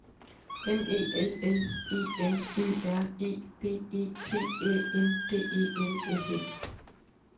M E L L E M Ø R E B E T Æ N D E L S E